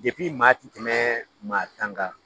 Jɛkulu in maa ti tɛmɛ maa tan ka